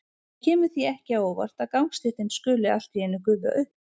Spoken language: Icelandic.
Það kemur því ekki á óvart að gangstéttin skuli allt í einu gufa upp.